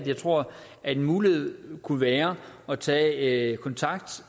jeg tror at en mulighed kunne være at tage kontakt